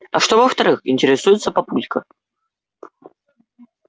а что во-вторых интересуется папулька